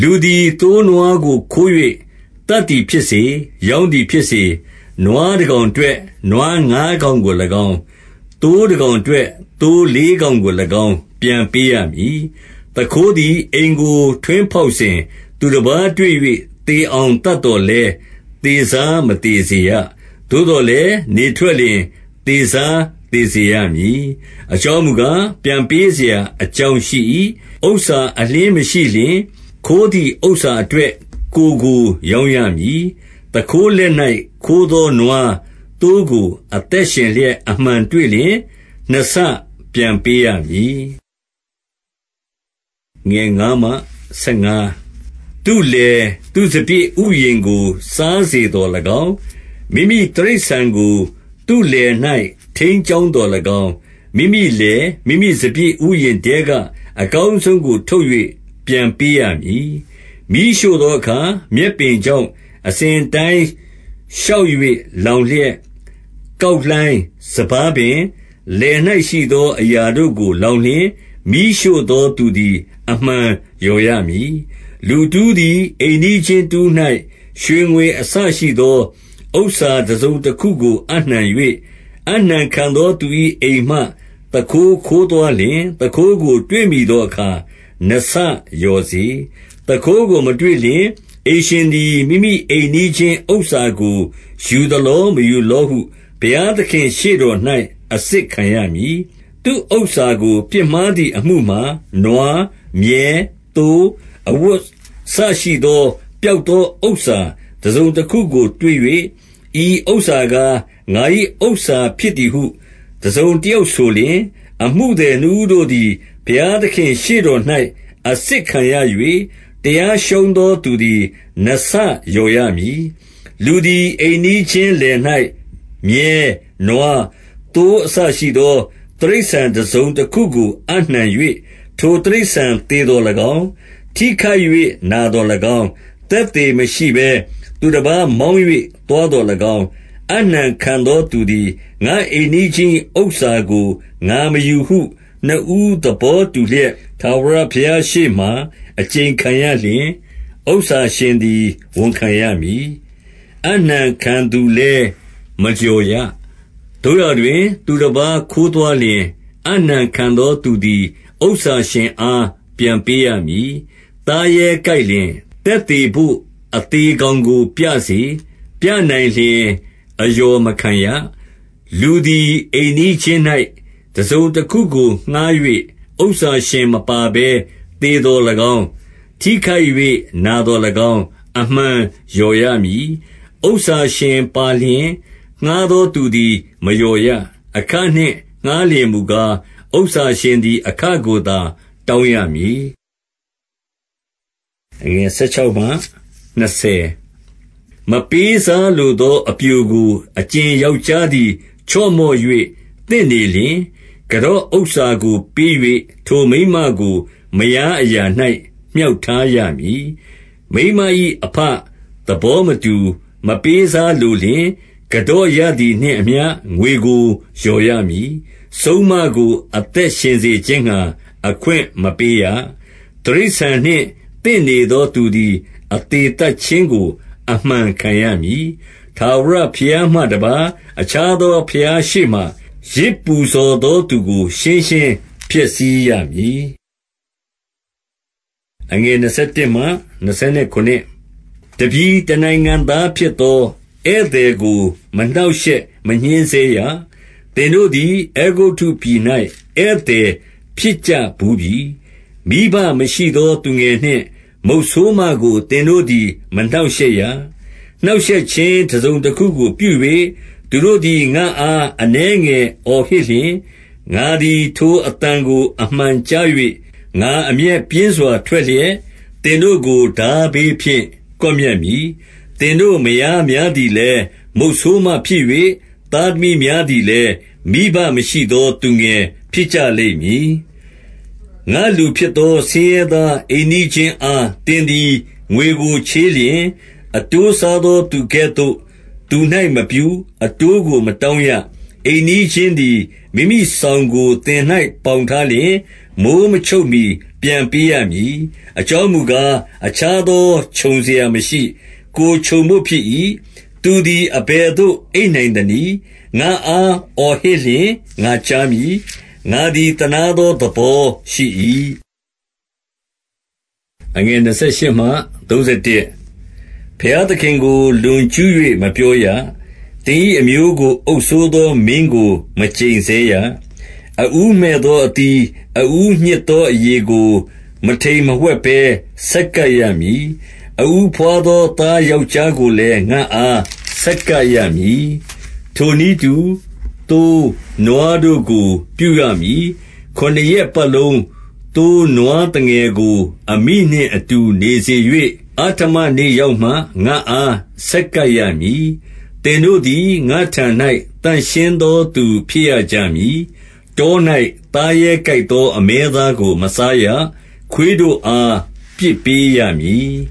လူသည် သိုးနွားကိုခိုး၍သတ်သည်ဖြစ်စေ၊ ရောင်းသည်ဖြစ်စေ၊ နွားတကောင်အတွက် နွားငါးကောင် ကို၎င်း၊ သိုးတကောင်အတွက် သိုးလေးကောင်ကို၎င်း ပြန်ပေးရမည်။ 2 သူခိုးသည် အိမ်ကိုထွင်းဖောက်စဉ်၊ သူတပါးတွေ့၍ သေအောင်သတ်သော်လည်း၊သေစား မသေစေရ။ 3 သို့သော်လည်း နေထွက်လျှင် သေစားသေစေရမည်။ အကြောင်းမူကား၊ ပြန်ပေးစရာအကြောင်းရှိ၏။ ဥစ္စာအလျှင်းမရှိလျှင်၊ ခိုးသည်ဥစ္စာအတွက် ကိုယ်ကိုရောင်းရမည်။ 4 သူခိုးလက်၌ ခိုးသောနွား၊ သိုးကို အသက်ရှင်လျှက် အမှန်တွေ့လျှင်၊ နှစ်ဆပြန်ပေးရမည်။ 5 သူ့လယ်၊ သူ့စပျစ်ဥယျာဉ်ကို စားစေသော်၎င်း၊ မိမိတိရိစ္ဆာန်ကို သူ့လယ်၌ ထိန်းကျောင်းသော်၎င်း၊ မိမိလယ်၊ မိမိစပျစ်ဥယျာဉ်ထဲကအကောင်းဆုံးကို ထုတ်၍ ပြန်ပေးရမည်။ 6 မီးရှို့သောအခါ မြက်ပင်ကြောင့် အစဉ်အတိုင်း ရှောက်၍လောင်လျက်၊ ကောက်လှိုင်း၊ စပါးပင်၊ လယ်၌ရှိသောအရာတို့ကို လောင်လျှင်၊ မီးရှို့သောသူသည် အမှန်လျော်ရမည်။ 7 လူတဦးသည် အိမ်နီးချင်းတဦး၌ ရွှေငွေအစရှိသော ဥစ္စတစုံတခုကို အပ်နှံ၍၊ အပ်နှံခံသော သူ၏အိမ်မှ သူခိုးခိုးသွားလျှင်၊ သူခိုးကို တွေ့မိသောအခါ နှစ်ဆလျော်စေ။ 8 သူခိုးကို မတွေ့လျှင်၊ အိမ်ရှင်သည် မိမိအိမ်နီးချင်းဥစ္စာကို ယူသလော မယူလောဟု ဘုရားသခင့် ရှေ့တော်၌ အစစ်ခံရမည်။ 9 သူ့ဥစ္စာကို ပြစ်မှားသည် အမှုမှာ၊ နွား၊ မြည်း၊ သိုး၊ အဝတ်အစ ရှိသော ပျောက်သော ဥစ္စာတစုံတခုကို တွေ့၍၊ ဤဥစ္စာကား၊ ငါ၏ဥစ္ဇာဖြစ်သည်ဟု တစုံတယောက်ဆိုလျှင်၊ အမှုသည် နှစ်ဦးတို့သည် ဘုရားသခင် ရှေ့တော်၌အစစ်ခံရ၍၊ တရားရှုံးသောသူသည် နှစ်ဆလျော်ရမည်။ 10 လူသည် အိမ်နီးချင်းလယ်၌ မြည်း၊ နွား၊ သိုးအစရှိသော တိရစ္ဆာန်တစုံတခုကို အပ်နှံ၍၊ ထိုတိရစ္ဆာန် သေသော်၎င်း၊ ထိခိုက်၍နာသော်၎င်း၊ သက်သေမရှိဘဲ သူတပါးမောင်း၍သွားသော်၎င်း၊ 11 အပ်နှံခံသောသူသည် ငါ့အိမ်နီးချင်း၏ဥစ္စာကို ငါမယူဟု နှစ်ဦးသဘောတူလျက်၊ ထာဝရဘုရားရှေ့မှာ အကျိန်ခံရလျှင်၊ ဥစ္စာရှင်သည် ဝန်ခံရမည်။ အပ်နှံခံသူလည်း မလျော်ရ။ 12 သို့ရာတွင် သူတပါးခိုးသွားလျှင်၊ အပ်နှံခံသူသည် ဥစ္စာရှင်အား ပြန်ပေးရမည်။ 13 သားရဲကိုက်လျှင် သက်သေဘို့ အသေကောင်ကိုပြစေ။ ပြနိုင်လျှင် အလျော်မခံရ။ 14 လူသည် အိမ်နီးချင်း၌ တစုံတခုကို ငှါး၍ ဥစ္စာရှင်မပါဘဲ သေသော်၎င်း၊ ထိခိုက်၍ နာသော်၎င်း၊ အမှန်လျော်ရမည်။ 15 ဥစ္စာရှင်ပါလျှင်၊ ငှါးသောသူသည် မလျော်ရ။ အခနှင့် ငှါးလျှင်မူကား၊ ဥစ္စာရှင်သည် အခကိုသာ တောင်းရမည်။ 16 မပေးစားလိုသော အပျိုကို၊ အကြင်ယောက်ျားသည် ချော့မော့၍ သင့်နေလျှင်၊ ကန်တော့ဥစ္စာကို ပေး၍ ထိုမိန်းမကို မယားအရာ၌ မြှောက်ထားရမည်။ 17 မိန်းမ၏အဘ သဘောမတူမပေးစားလိုလျှင်၊ ကန်တော့ရသည်နှင့်အမျှ ငွေကို လျော်ရမည်။ 18 စုန်းမကို အသက်ရှင်စေခြင်းငှါ အခွင့်မပေးရ။ 19 တိရစ္ဆာန်နှင့်သင့်နေသော သူသည် အသေသတ်ခြင်းကို အမှန်ခံရမည်။ 20 ထာဝရဘုရားမှတပါး အခြားသော ဘုရားရှေ့မှာ ယဇ်ပူဇော်သောသူကို ရှင်းရှင်းဖျက်ဆီးရမည်။ 21 တပြည်တနိုင်ငံသားဖြစ်သော ဧည့်သည်ကို မနှောင့်ရှက်မညှဉ်းဆဲရ။ သင်တို့သည် အဲဂုတ္တုပြည်၌ ဧည့်သည်ဖြစ်ကြဘူးပြီ။ 22 မိဘမရှိသောသူငယ်နှင့် မုတ်ဆိုးမကို သင်တို့သည် မနှောင့်ရှက်ရ။ 23 နှောင့်ရှက်ခြင်းတစုံတခုကို ပြု၍ သူတို့သည် ငါ့အား အနည်းငယ်အော်ဟစ်လျှင်၊ ငါသည် ထိုအသံကို အမှန်ကြား၍၊ 24 ငါအမျက်ပြင်းစွာ ထွက်လျှက် သင်တို့ကို ထားဘေးဖြင့် ကွပ်မျက်မည်။ သင်တို့မယားများသည်လည်း မုတ်ဆိုးမဖြစ်၍၊ သားသမီးများသည်လည်း မိဘမရှိသော သူငယ်ဖြစ်ကြလိမ့်မည်။ 25 ငါ့လူဖြစ်သော ဆင်းရဲသား အိမ်နီးချင်းအား သင်သည် ငွေကို ချေးလျှင်၊ အတိုးစားသော သူကဲ့သို့ သူ၌မပြု၊ အတိုးကို မတောင်းရ။ 26 အိမ်နီးချင်းသည် မိမိစောင်ကို သင်၌ ပေါင်ထားလျှင်၊ မိုဃ်းမချုပ်မှီ ပြန်ပေးရမည်။ 27 အကြောင်းမူကား၊ အခြားသောခြုံစရာမရှိ။ ကိုယ်ခြုံဘို့ ဖြစ်၏။ သူသည် အဘယ်သို့ အိပ်နိုင်သနည်း။ ငါ့အား အော်ဟစ်လျှင် ငါကြားမည်။ ငါသည် သနားသော သဘောရှိ၏။ 28 ဘုရားသခင်ကို လွန်ကျူး၍ မပြောရ။ သင်၏အမျိုးကို အုပ်စိုးသော မင်းကို မကျိန်ဆဲရ။ 29 အဦးမှည့်သောအသီး၊ အဦးညှစ်သောအရည်ကို မထိမ်မဝှက်ဘဲ ဆက်ကပ်ရမည်။ အဦးဘွားသော သားယောက်ျားကိုလည်း ငါ့အား ဆက်ကပ်ရမည်။ 30 ထိုနည်းတူ သိုးနွားတို့ကို ပြုရမည်။ ခုနစ်ရက်ပတ်လုံး သိုးနွားသငယ်ကို အမိနှင့်အတူ နေစေ၍၊ အဋ္ဌမနေ့ရောက်မှ ငါ့အား ဆက်ကပ်ရမည်။ 31 သင်တို့သည် ငါ့ထံ၌ သန့်ရှင်းသောသူ ဖြစ်ရကြမည်။ တော၌ သားရဲကိုက်သော အမဲသားကို မစားရ။ ခွေးတို့အား ပစ်ပေးရမည်